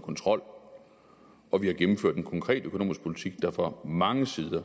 kontrol og vi har gennemført en konkret økonomisk politik der fra mange sider